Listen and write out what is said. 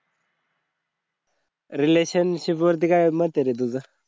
relationship वरती काय मत आहे रे तुझा?